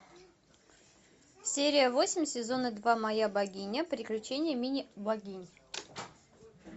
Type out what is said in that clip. серия восемь сезона два моя богиня приключения мини богинь